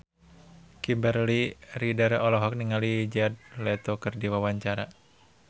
Kimberly Ryder olohok ningali Jared Leto keur diwawancara